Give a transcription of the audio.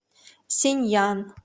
синьян